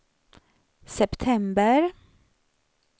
september